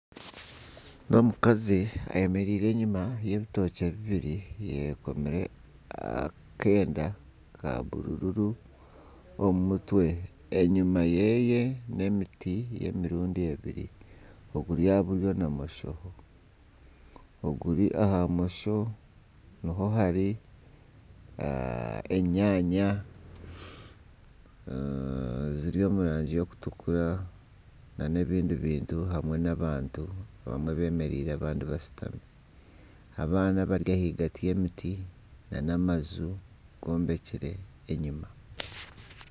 N'omukazi ayemereire enyuma y'ebitookye bibiri ayekomire akeenda ka bururu omu mutwe enyuma yeeye n'emiti y'emirundi ebiri oguri aha buryo na bumosho oguri aha bumosho niho hari enyanya ziri omu rangi y'okutukura na n'ebindi bintu hamwe n'abantu abamwe bemereire abandi bashutami abaana bari ahagati y'emiti na n'amaju gombekire enyima.